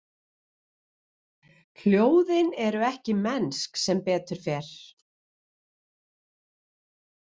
Hljóðin eru ekki mennsk, sem betur fer.